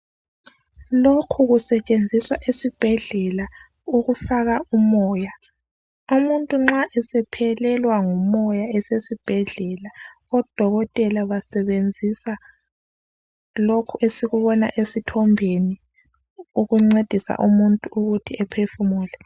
Lokhu kusetshenziswa esibhedlela ukufaka umoya. Umuntu nxa esephelelwa ngomoya esesibhedlela, odokotela abasebenzisa lokhu esikubona esithimbeni ukuncedisa umuntu ukuthi aphefumule.